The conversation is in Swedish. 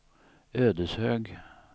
Ödeshög